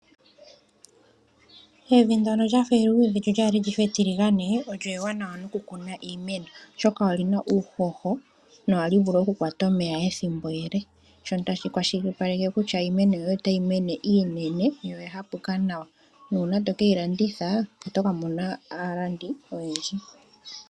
Evi ndono lyafa eluudhe lyo olyafa etiligane olyo ewanawa nokukuna iimeno oshoka olina uuhoho nohali vulu okukwata omeya ethimbo ele shono tashi kwashilipaleke kutya iimeno yoye otayi mene iinene noya andjuka nawa nuuna to keyi landitha oto ka mona aalandi oyendji.